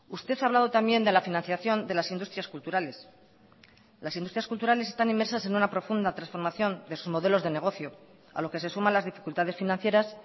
usted ha hablado también de la financiación de las industrias culturales las industrias culturales están inmersas en una profunda transformación de sus modelos de negocio a lo que se suman las dificultades financieras